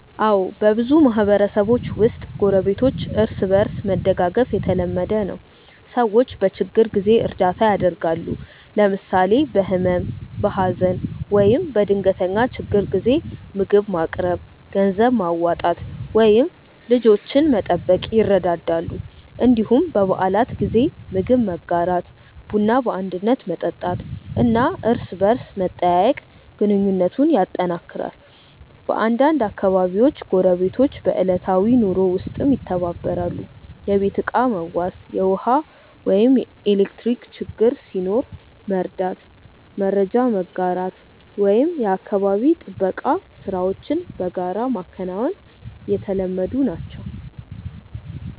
አዎ፣ በብዙ ማህበረሰቦች ውስጥ ጎረቤቶች እርስ በእርስ መደጋገፍ የተለመደ ነው። ሰዎች በችግር ጊዜ እርዳታ ያደርጋሉ፣ ለምሳሌ በህመም፣ በሀዘን ወይም በድንገተኛ ችግር ጊዜ ምግብ ማቅረብ፣ ገንዘብ ማዋጣት ወይም ልጆችን መጠበቅ ይረዳዳሉ። እንዲሁም በበዓላት ጊዜ ምግብ መጋራት፣ ቡና በአንድነት መጠጣት እና እርስ በርስ መጠያየቅ ግንኙነቱን ያጠናክራል። በአንዳንድ አካባቢዎች ጎረቤቶች በዕለታዊ ኑሮ ውስጥም ይተባበራሉ፤ የቤት ዕቃ መዋስ፣ ውሃ ወይም ኤሌክትሪክ ችግር ሲኖር መርዳት፣ መረጃ መጋራት ወይም የአካባቢ ጥበቃ ሥራዎችን በጋራ ማከናወን የተለመዱ ናቸው።